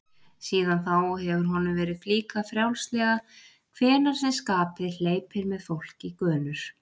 Síðan þá hefur honum verið flíkað frjálslega hvenær sem skapið hleypur með fólk í gönur.